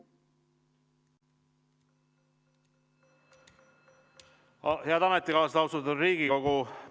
Head ametikaaslased, austatud Riigikogu!